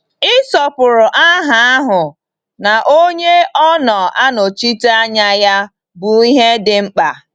Ịsọpụrụ aha ahụ na Onye ọ na-anọchite anya ya bụ ihe dị mkpa.